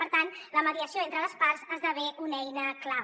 per tant la mediació entre les parts esdevé una eina clau